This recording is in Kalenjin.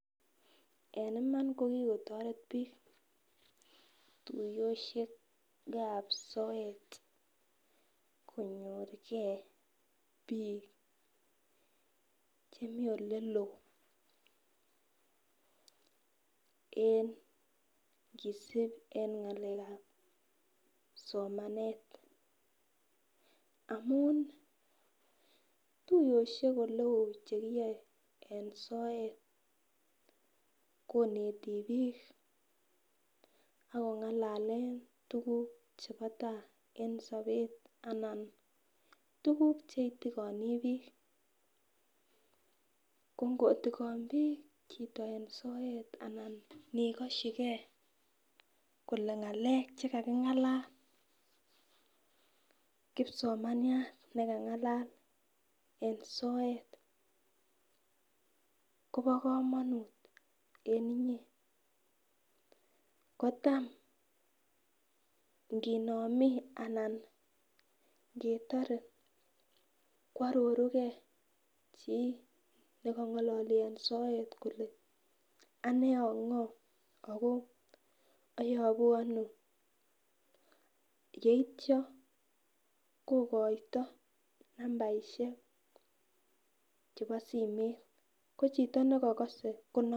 En Iman kokikotoret bik tuyoshekab soet konyorugee bik chemeii oleloo en kisb en ngalekab somanet amun tuyoshek chekiyoe en soet koneti bik ak kongalale tukuk chebo tai en sobet anan tukuk cheitigoni bik, ko ngotikon bik chito en soet anan nikoshigee kole ngalek chekakingalal kipsomaniat nekangalal en soet Kobo komonut en inyee kotam ikinome ana ketore kwororugee chii nekongololi en soet kole ane ongo Ako oyobu Ono yeityo kokoito nambarishek chebo simeit ko chito nekokose kinome.